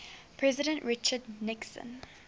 president richard nixon